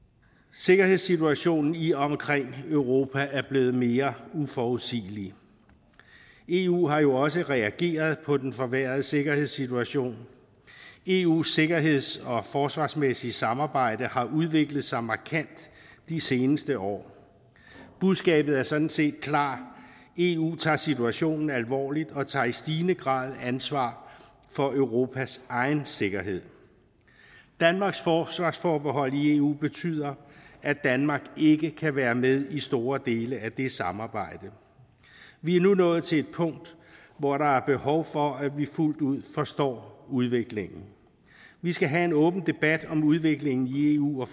sikkerhedssituationen i og omkring europa er blevet mere uforudsigelig eu har jo også reageret på den forværrede sikkerhedssituation eus sikkerheds og forsvarsmæssige samarbejde har udviklet sig markant de seneste år budskabet er sådan set klart eu tager situationen alvorligt og tager i stigende grad ansvar for europas egen sikkerhed danmarks forsvarsforbehold i eu betyder at danmark ikke kan være med i store dele af det samarbejde vi er nu nået til et punkt hvor der er behov for at vi fuldt ud forstår udviklingen vi skal have en åben debat om udviklingen i eu og